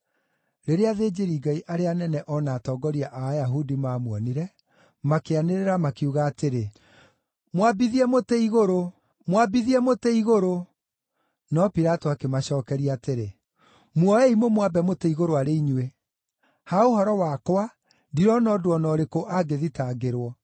Rĩrĩa athĩnjĩri-Ngai arĩa anene o na atongoria a Ayahudi maamuonire, makĩanĩrĩra makiuga atĩrĩ, “Mwambithie mũtĩ-igũrũ! Mwambithie mũtĩ-igũrũ!” No Pilato akĩmacookeria atĩrĩ, “Muoei mũmwambe mũtĩ igũrũ arĩ inyuĩ. Ha ũhoro wakwa, ndirona ũndũ o na ũrĩkũ angĩthitangĩrwo.”